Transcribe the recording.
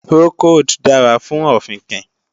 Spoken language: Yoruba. Procold dára fún ọ̀fìnkìn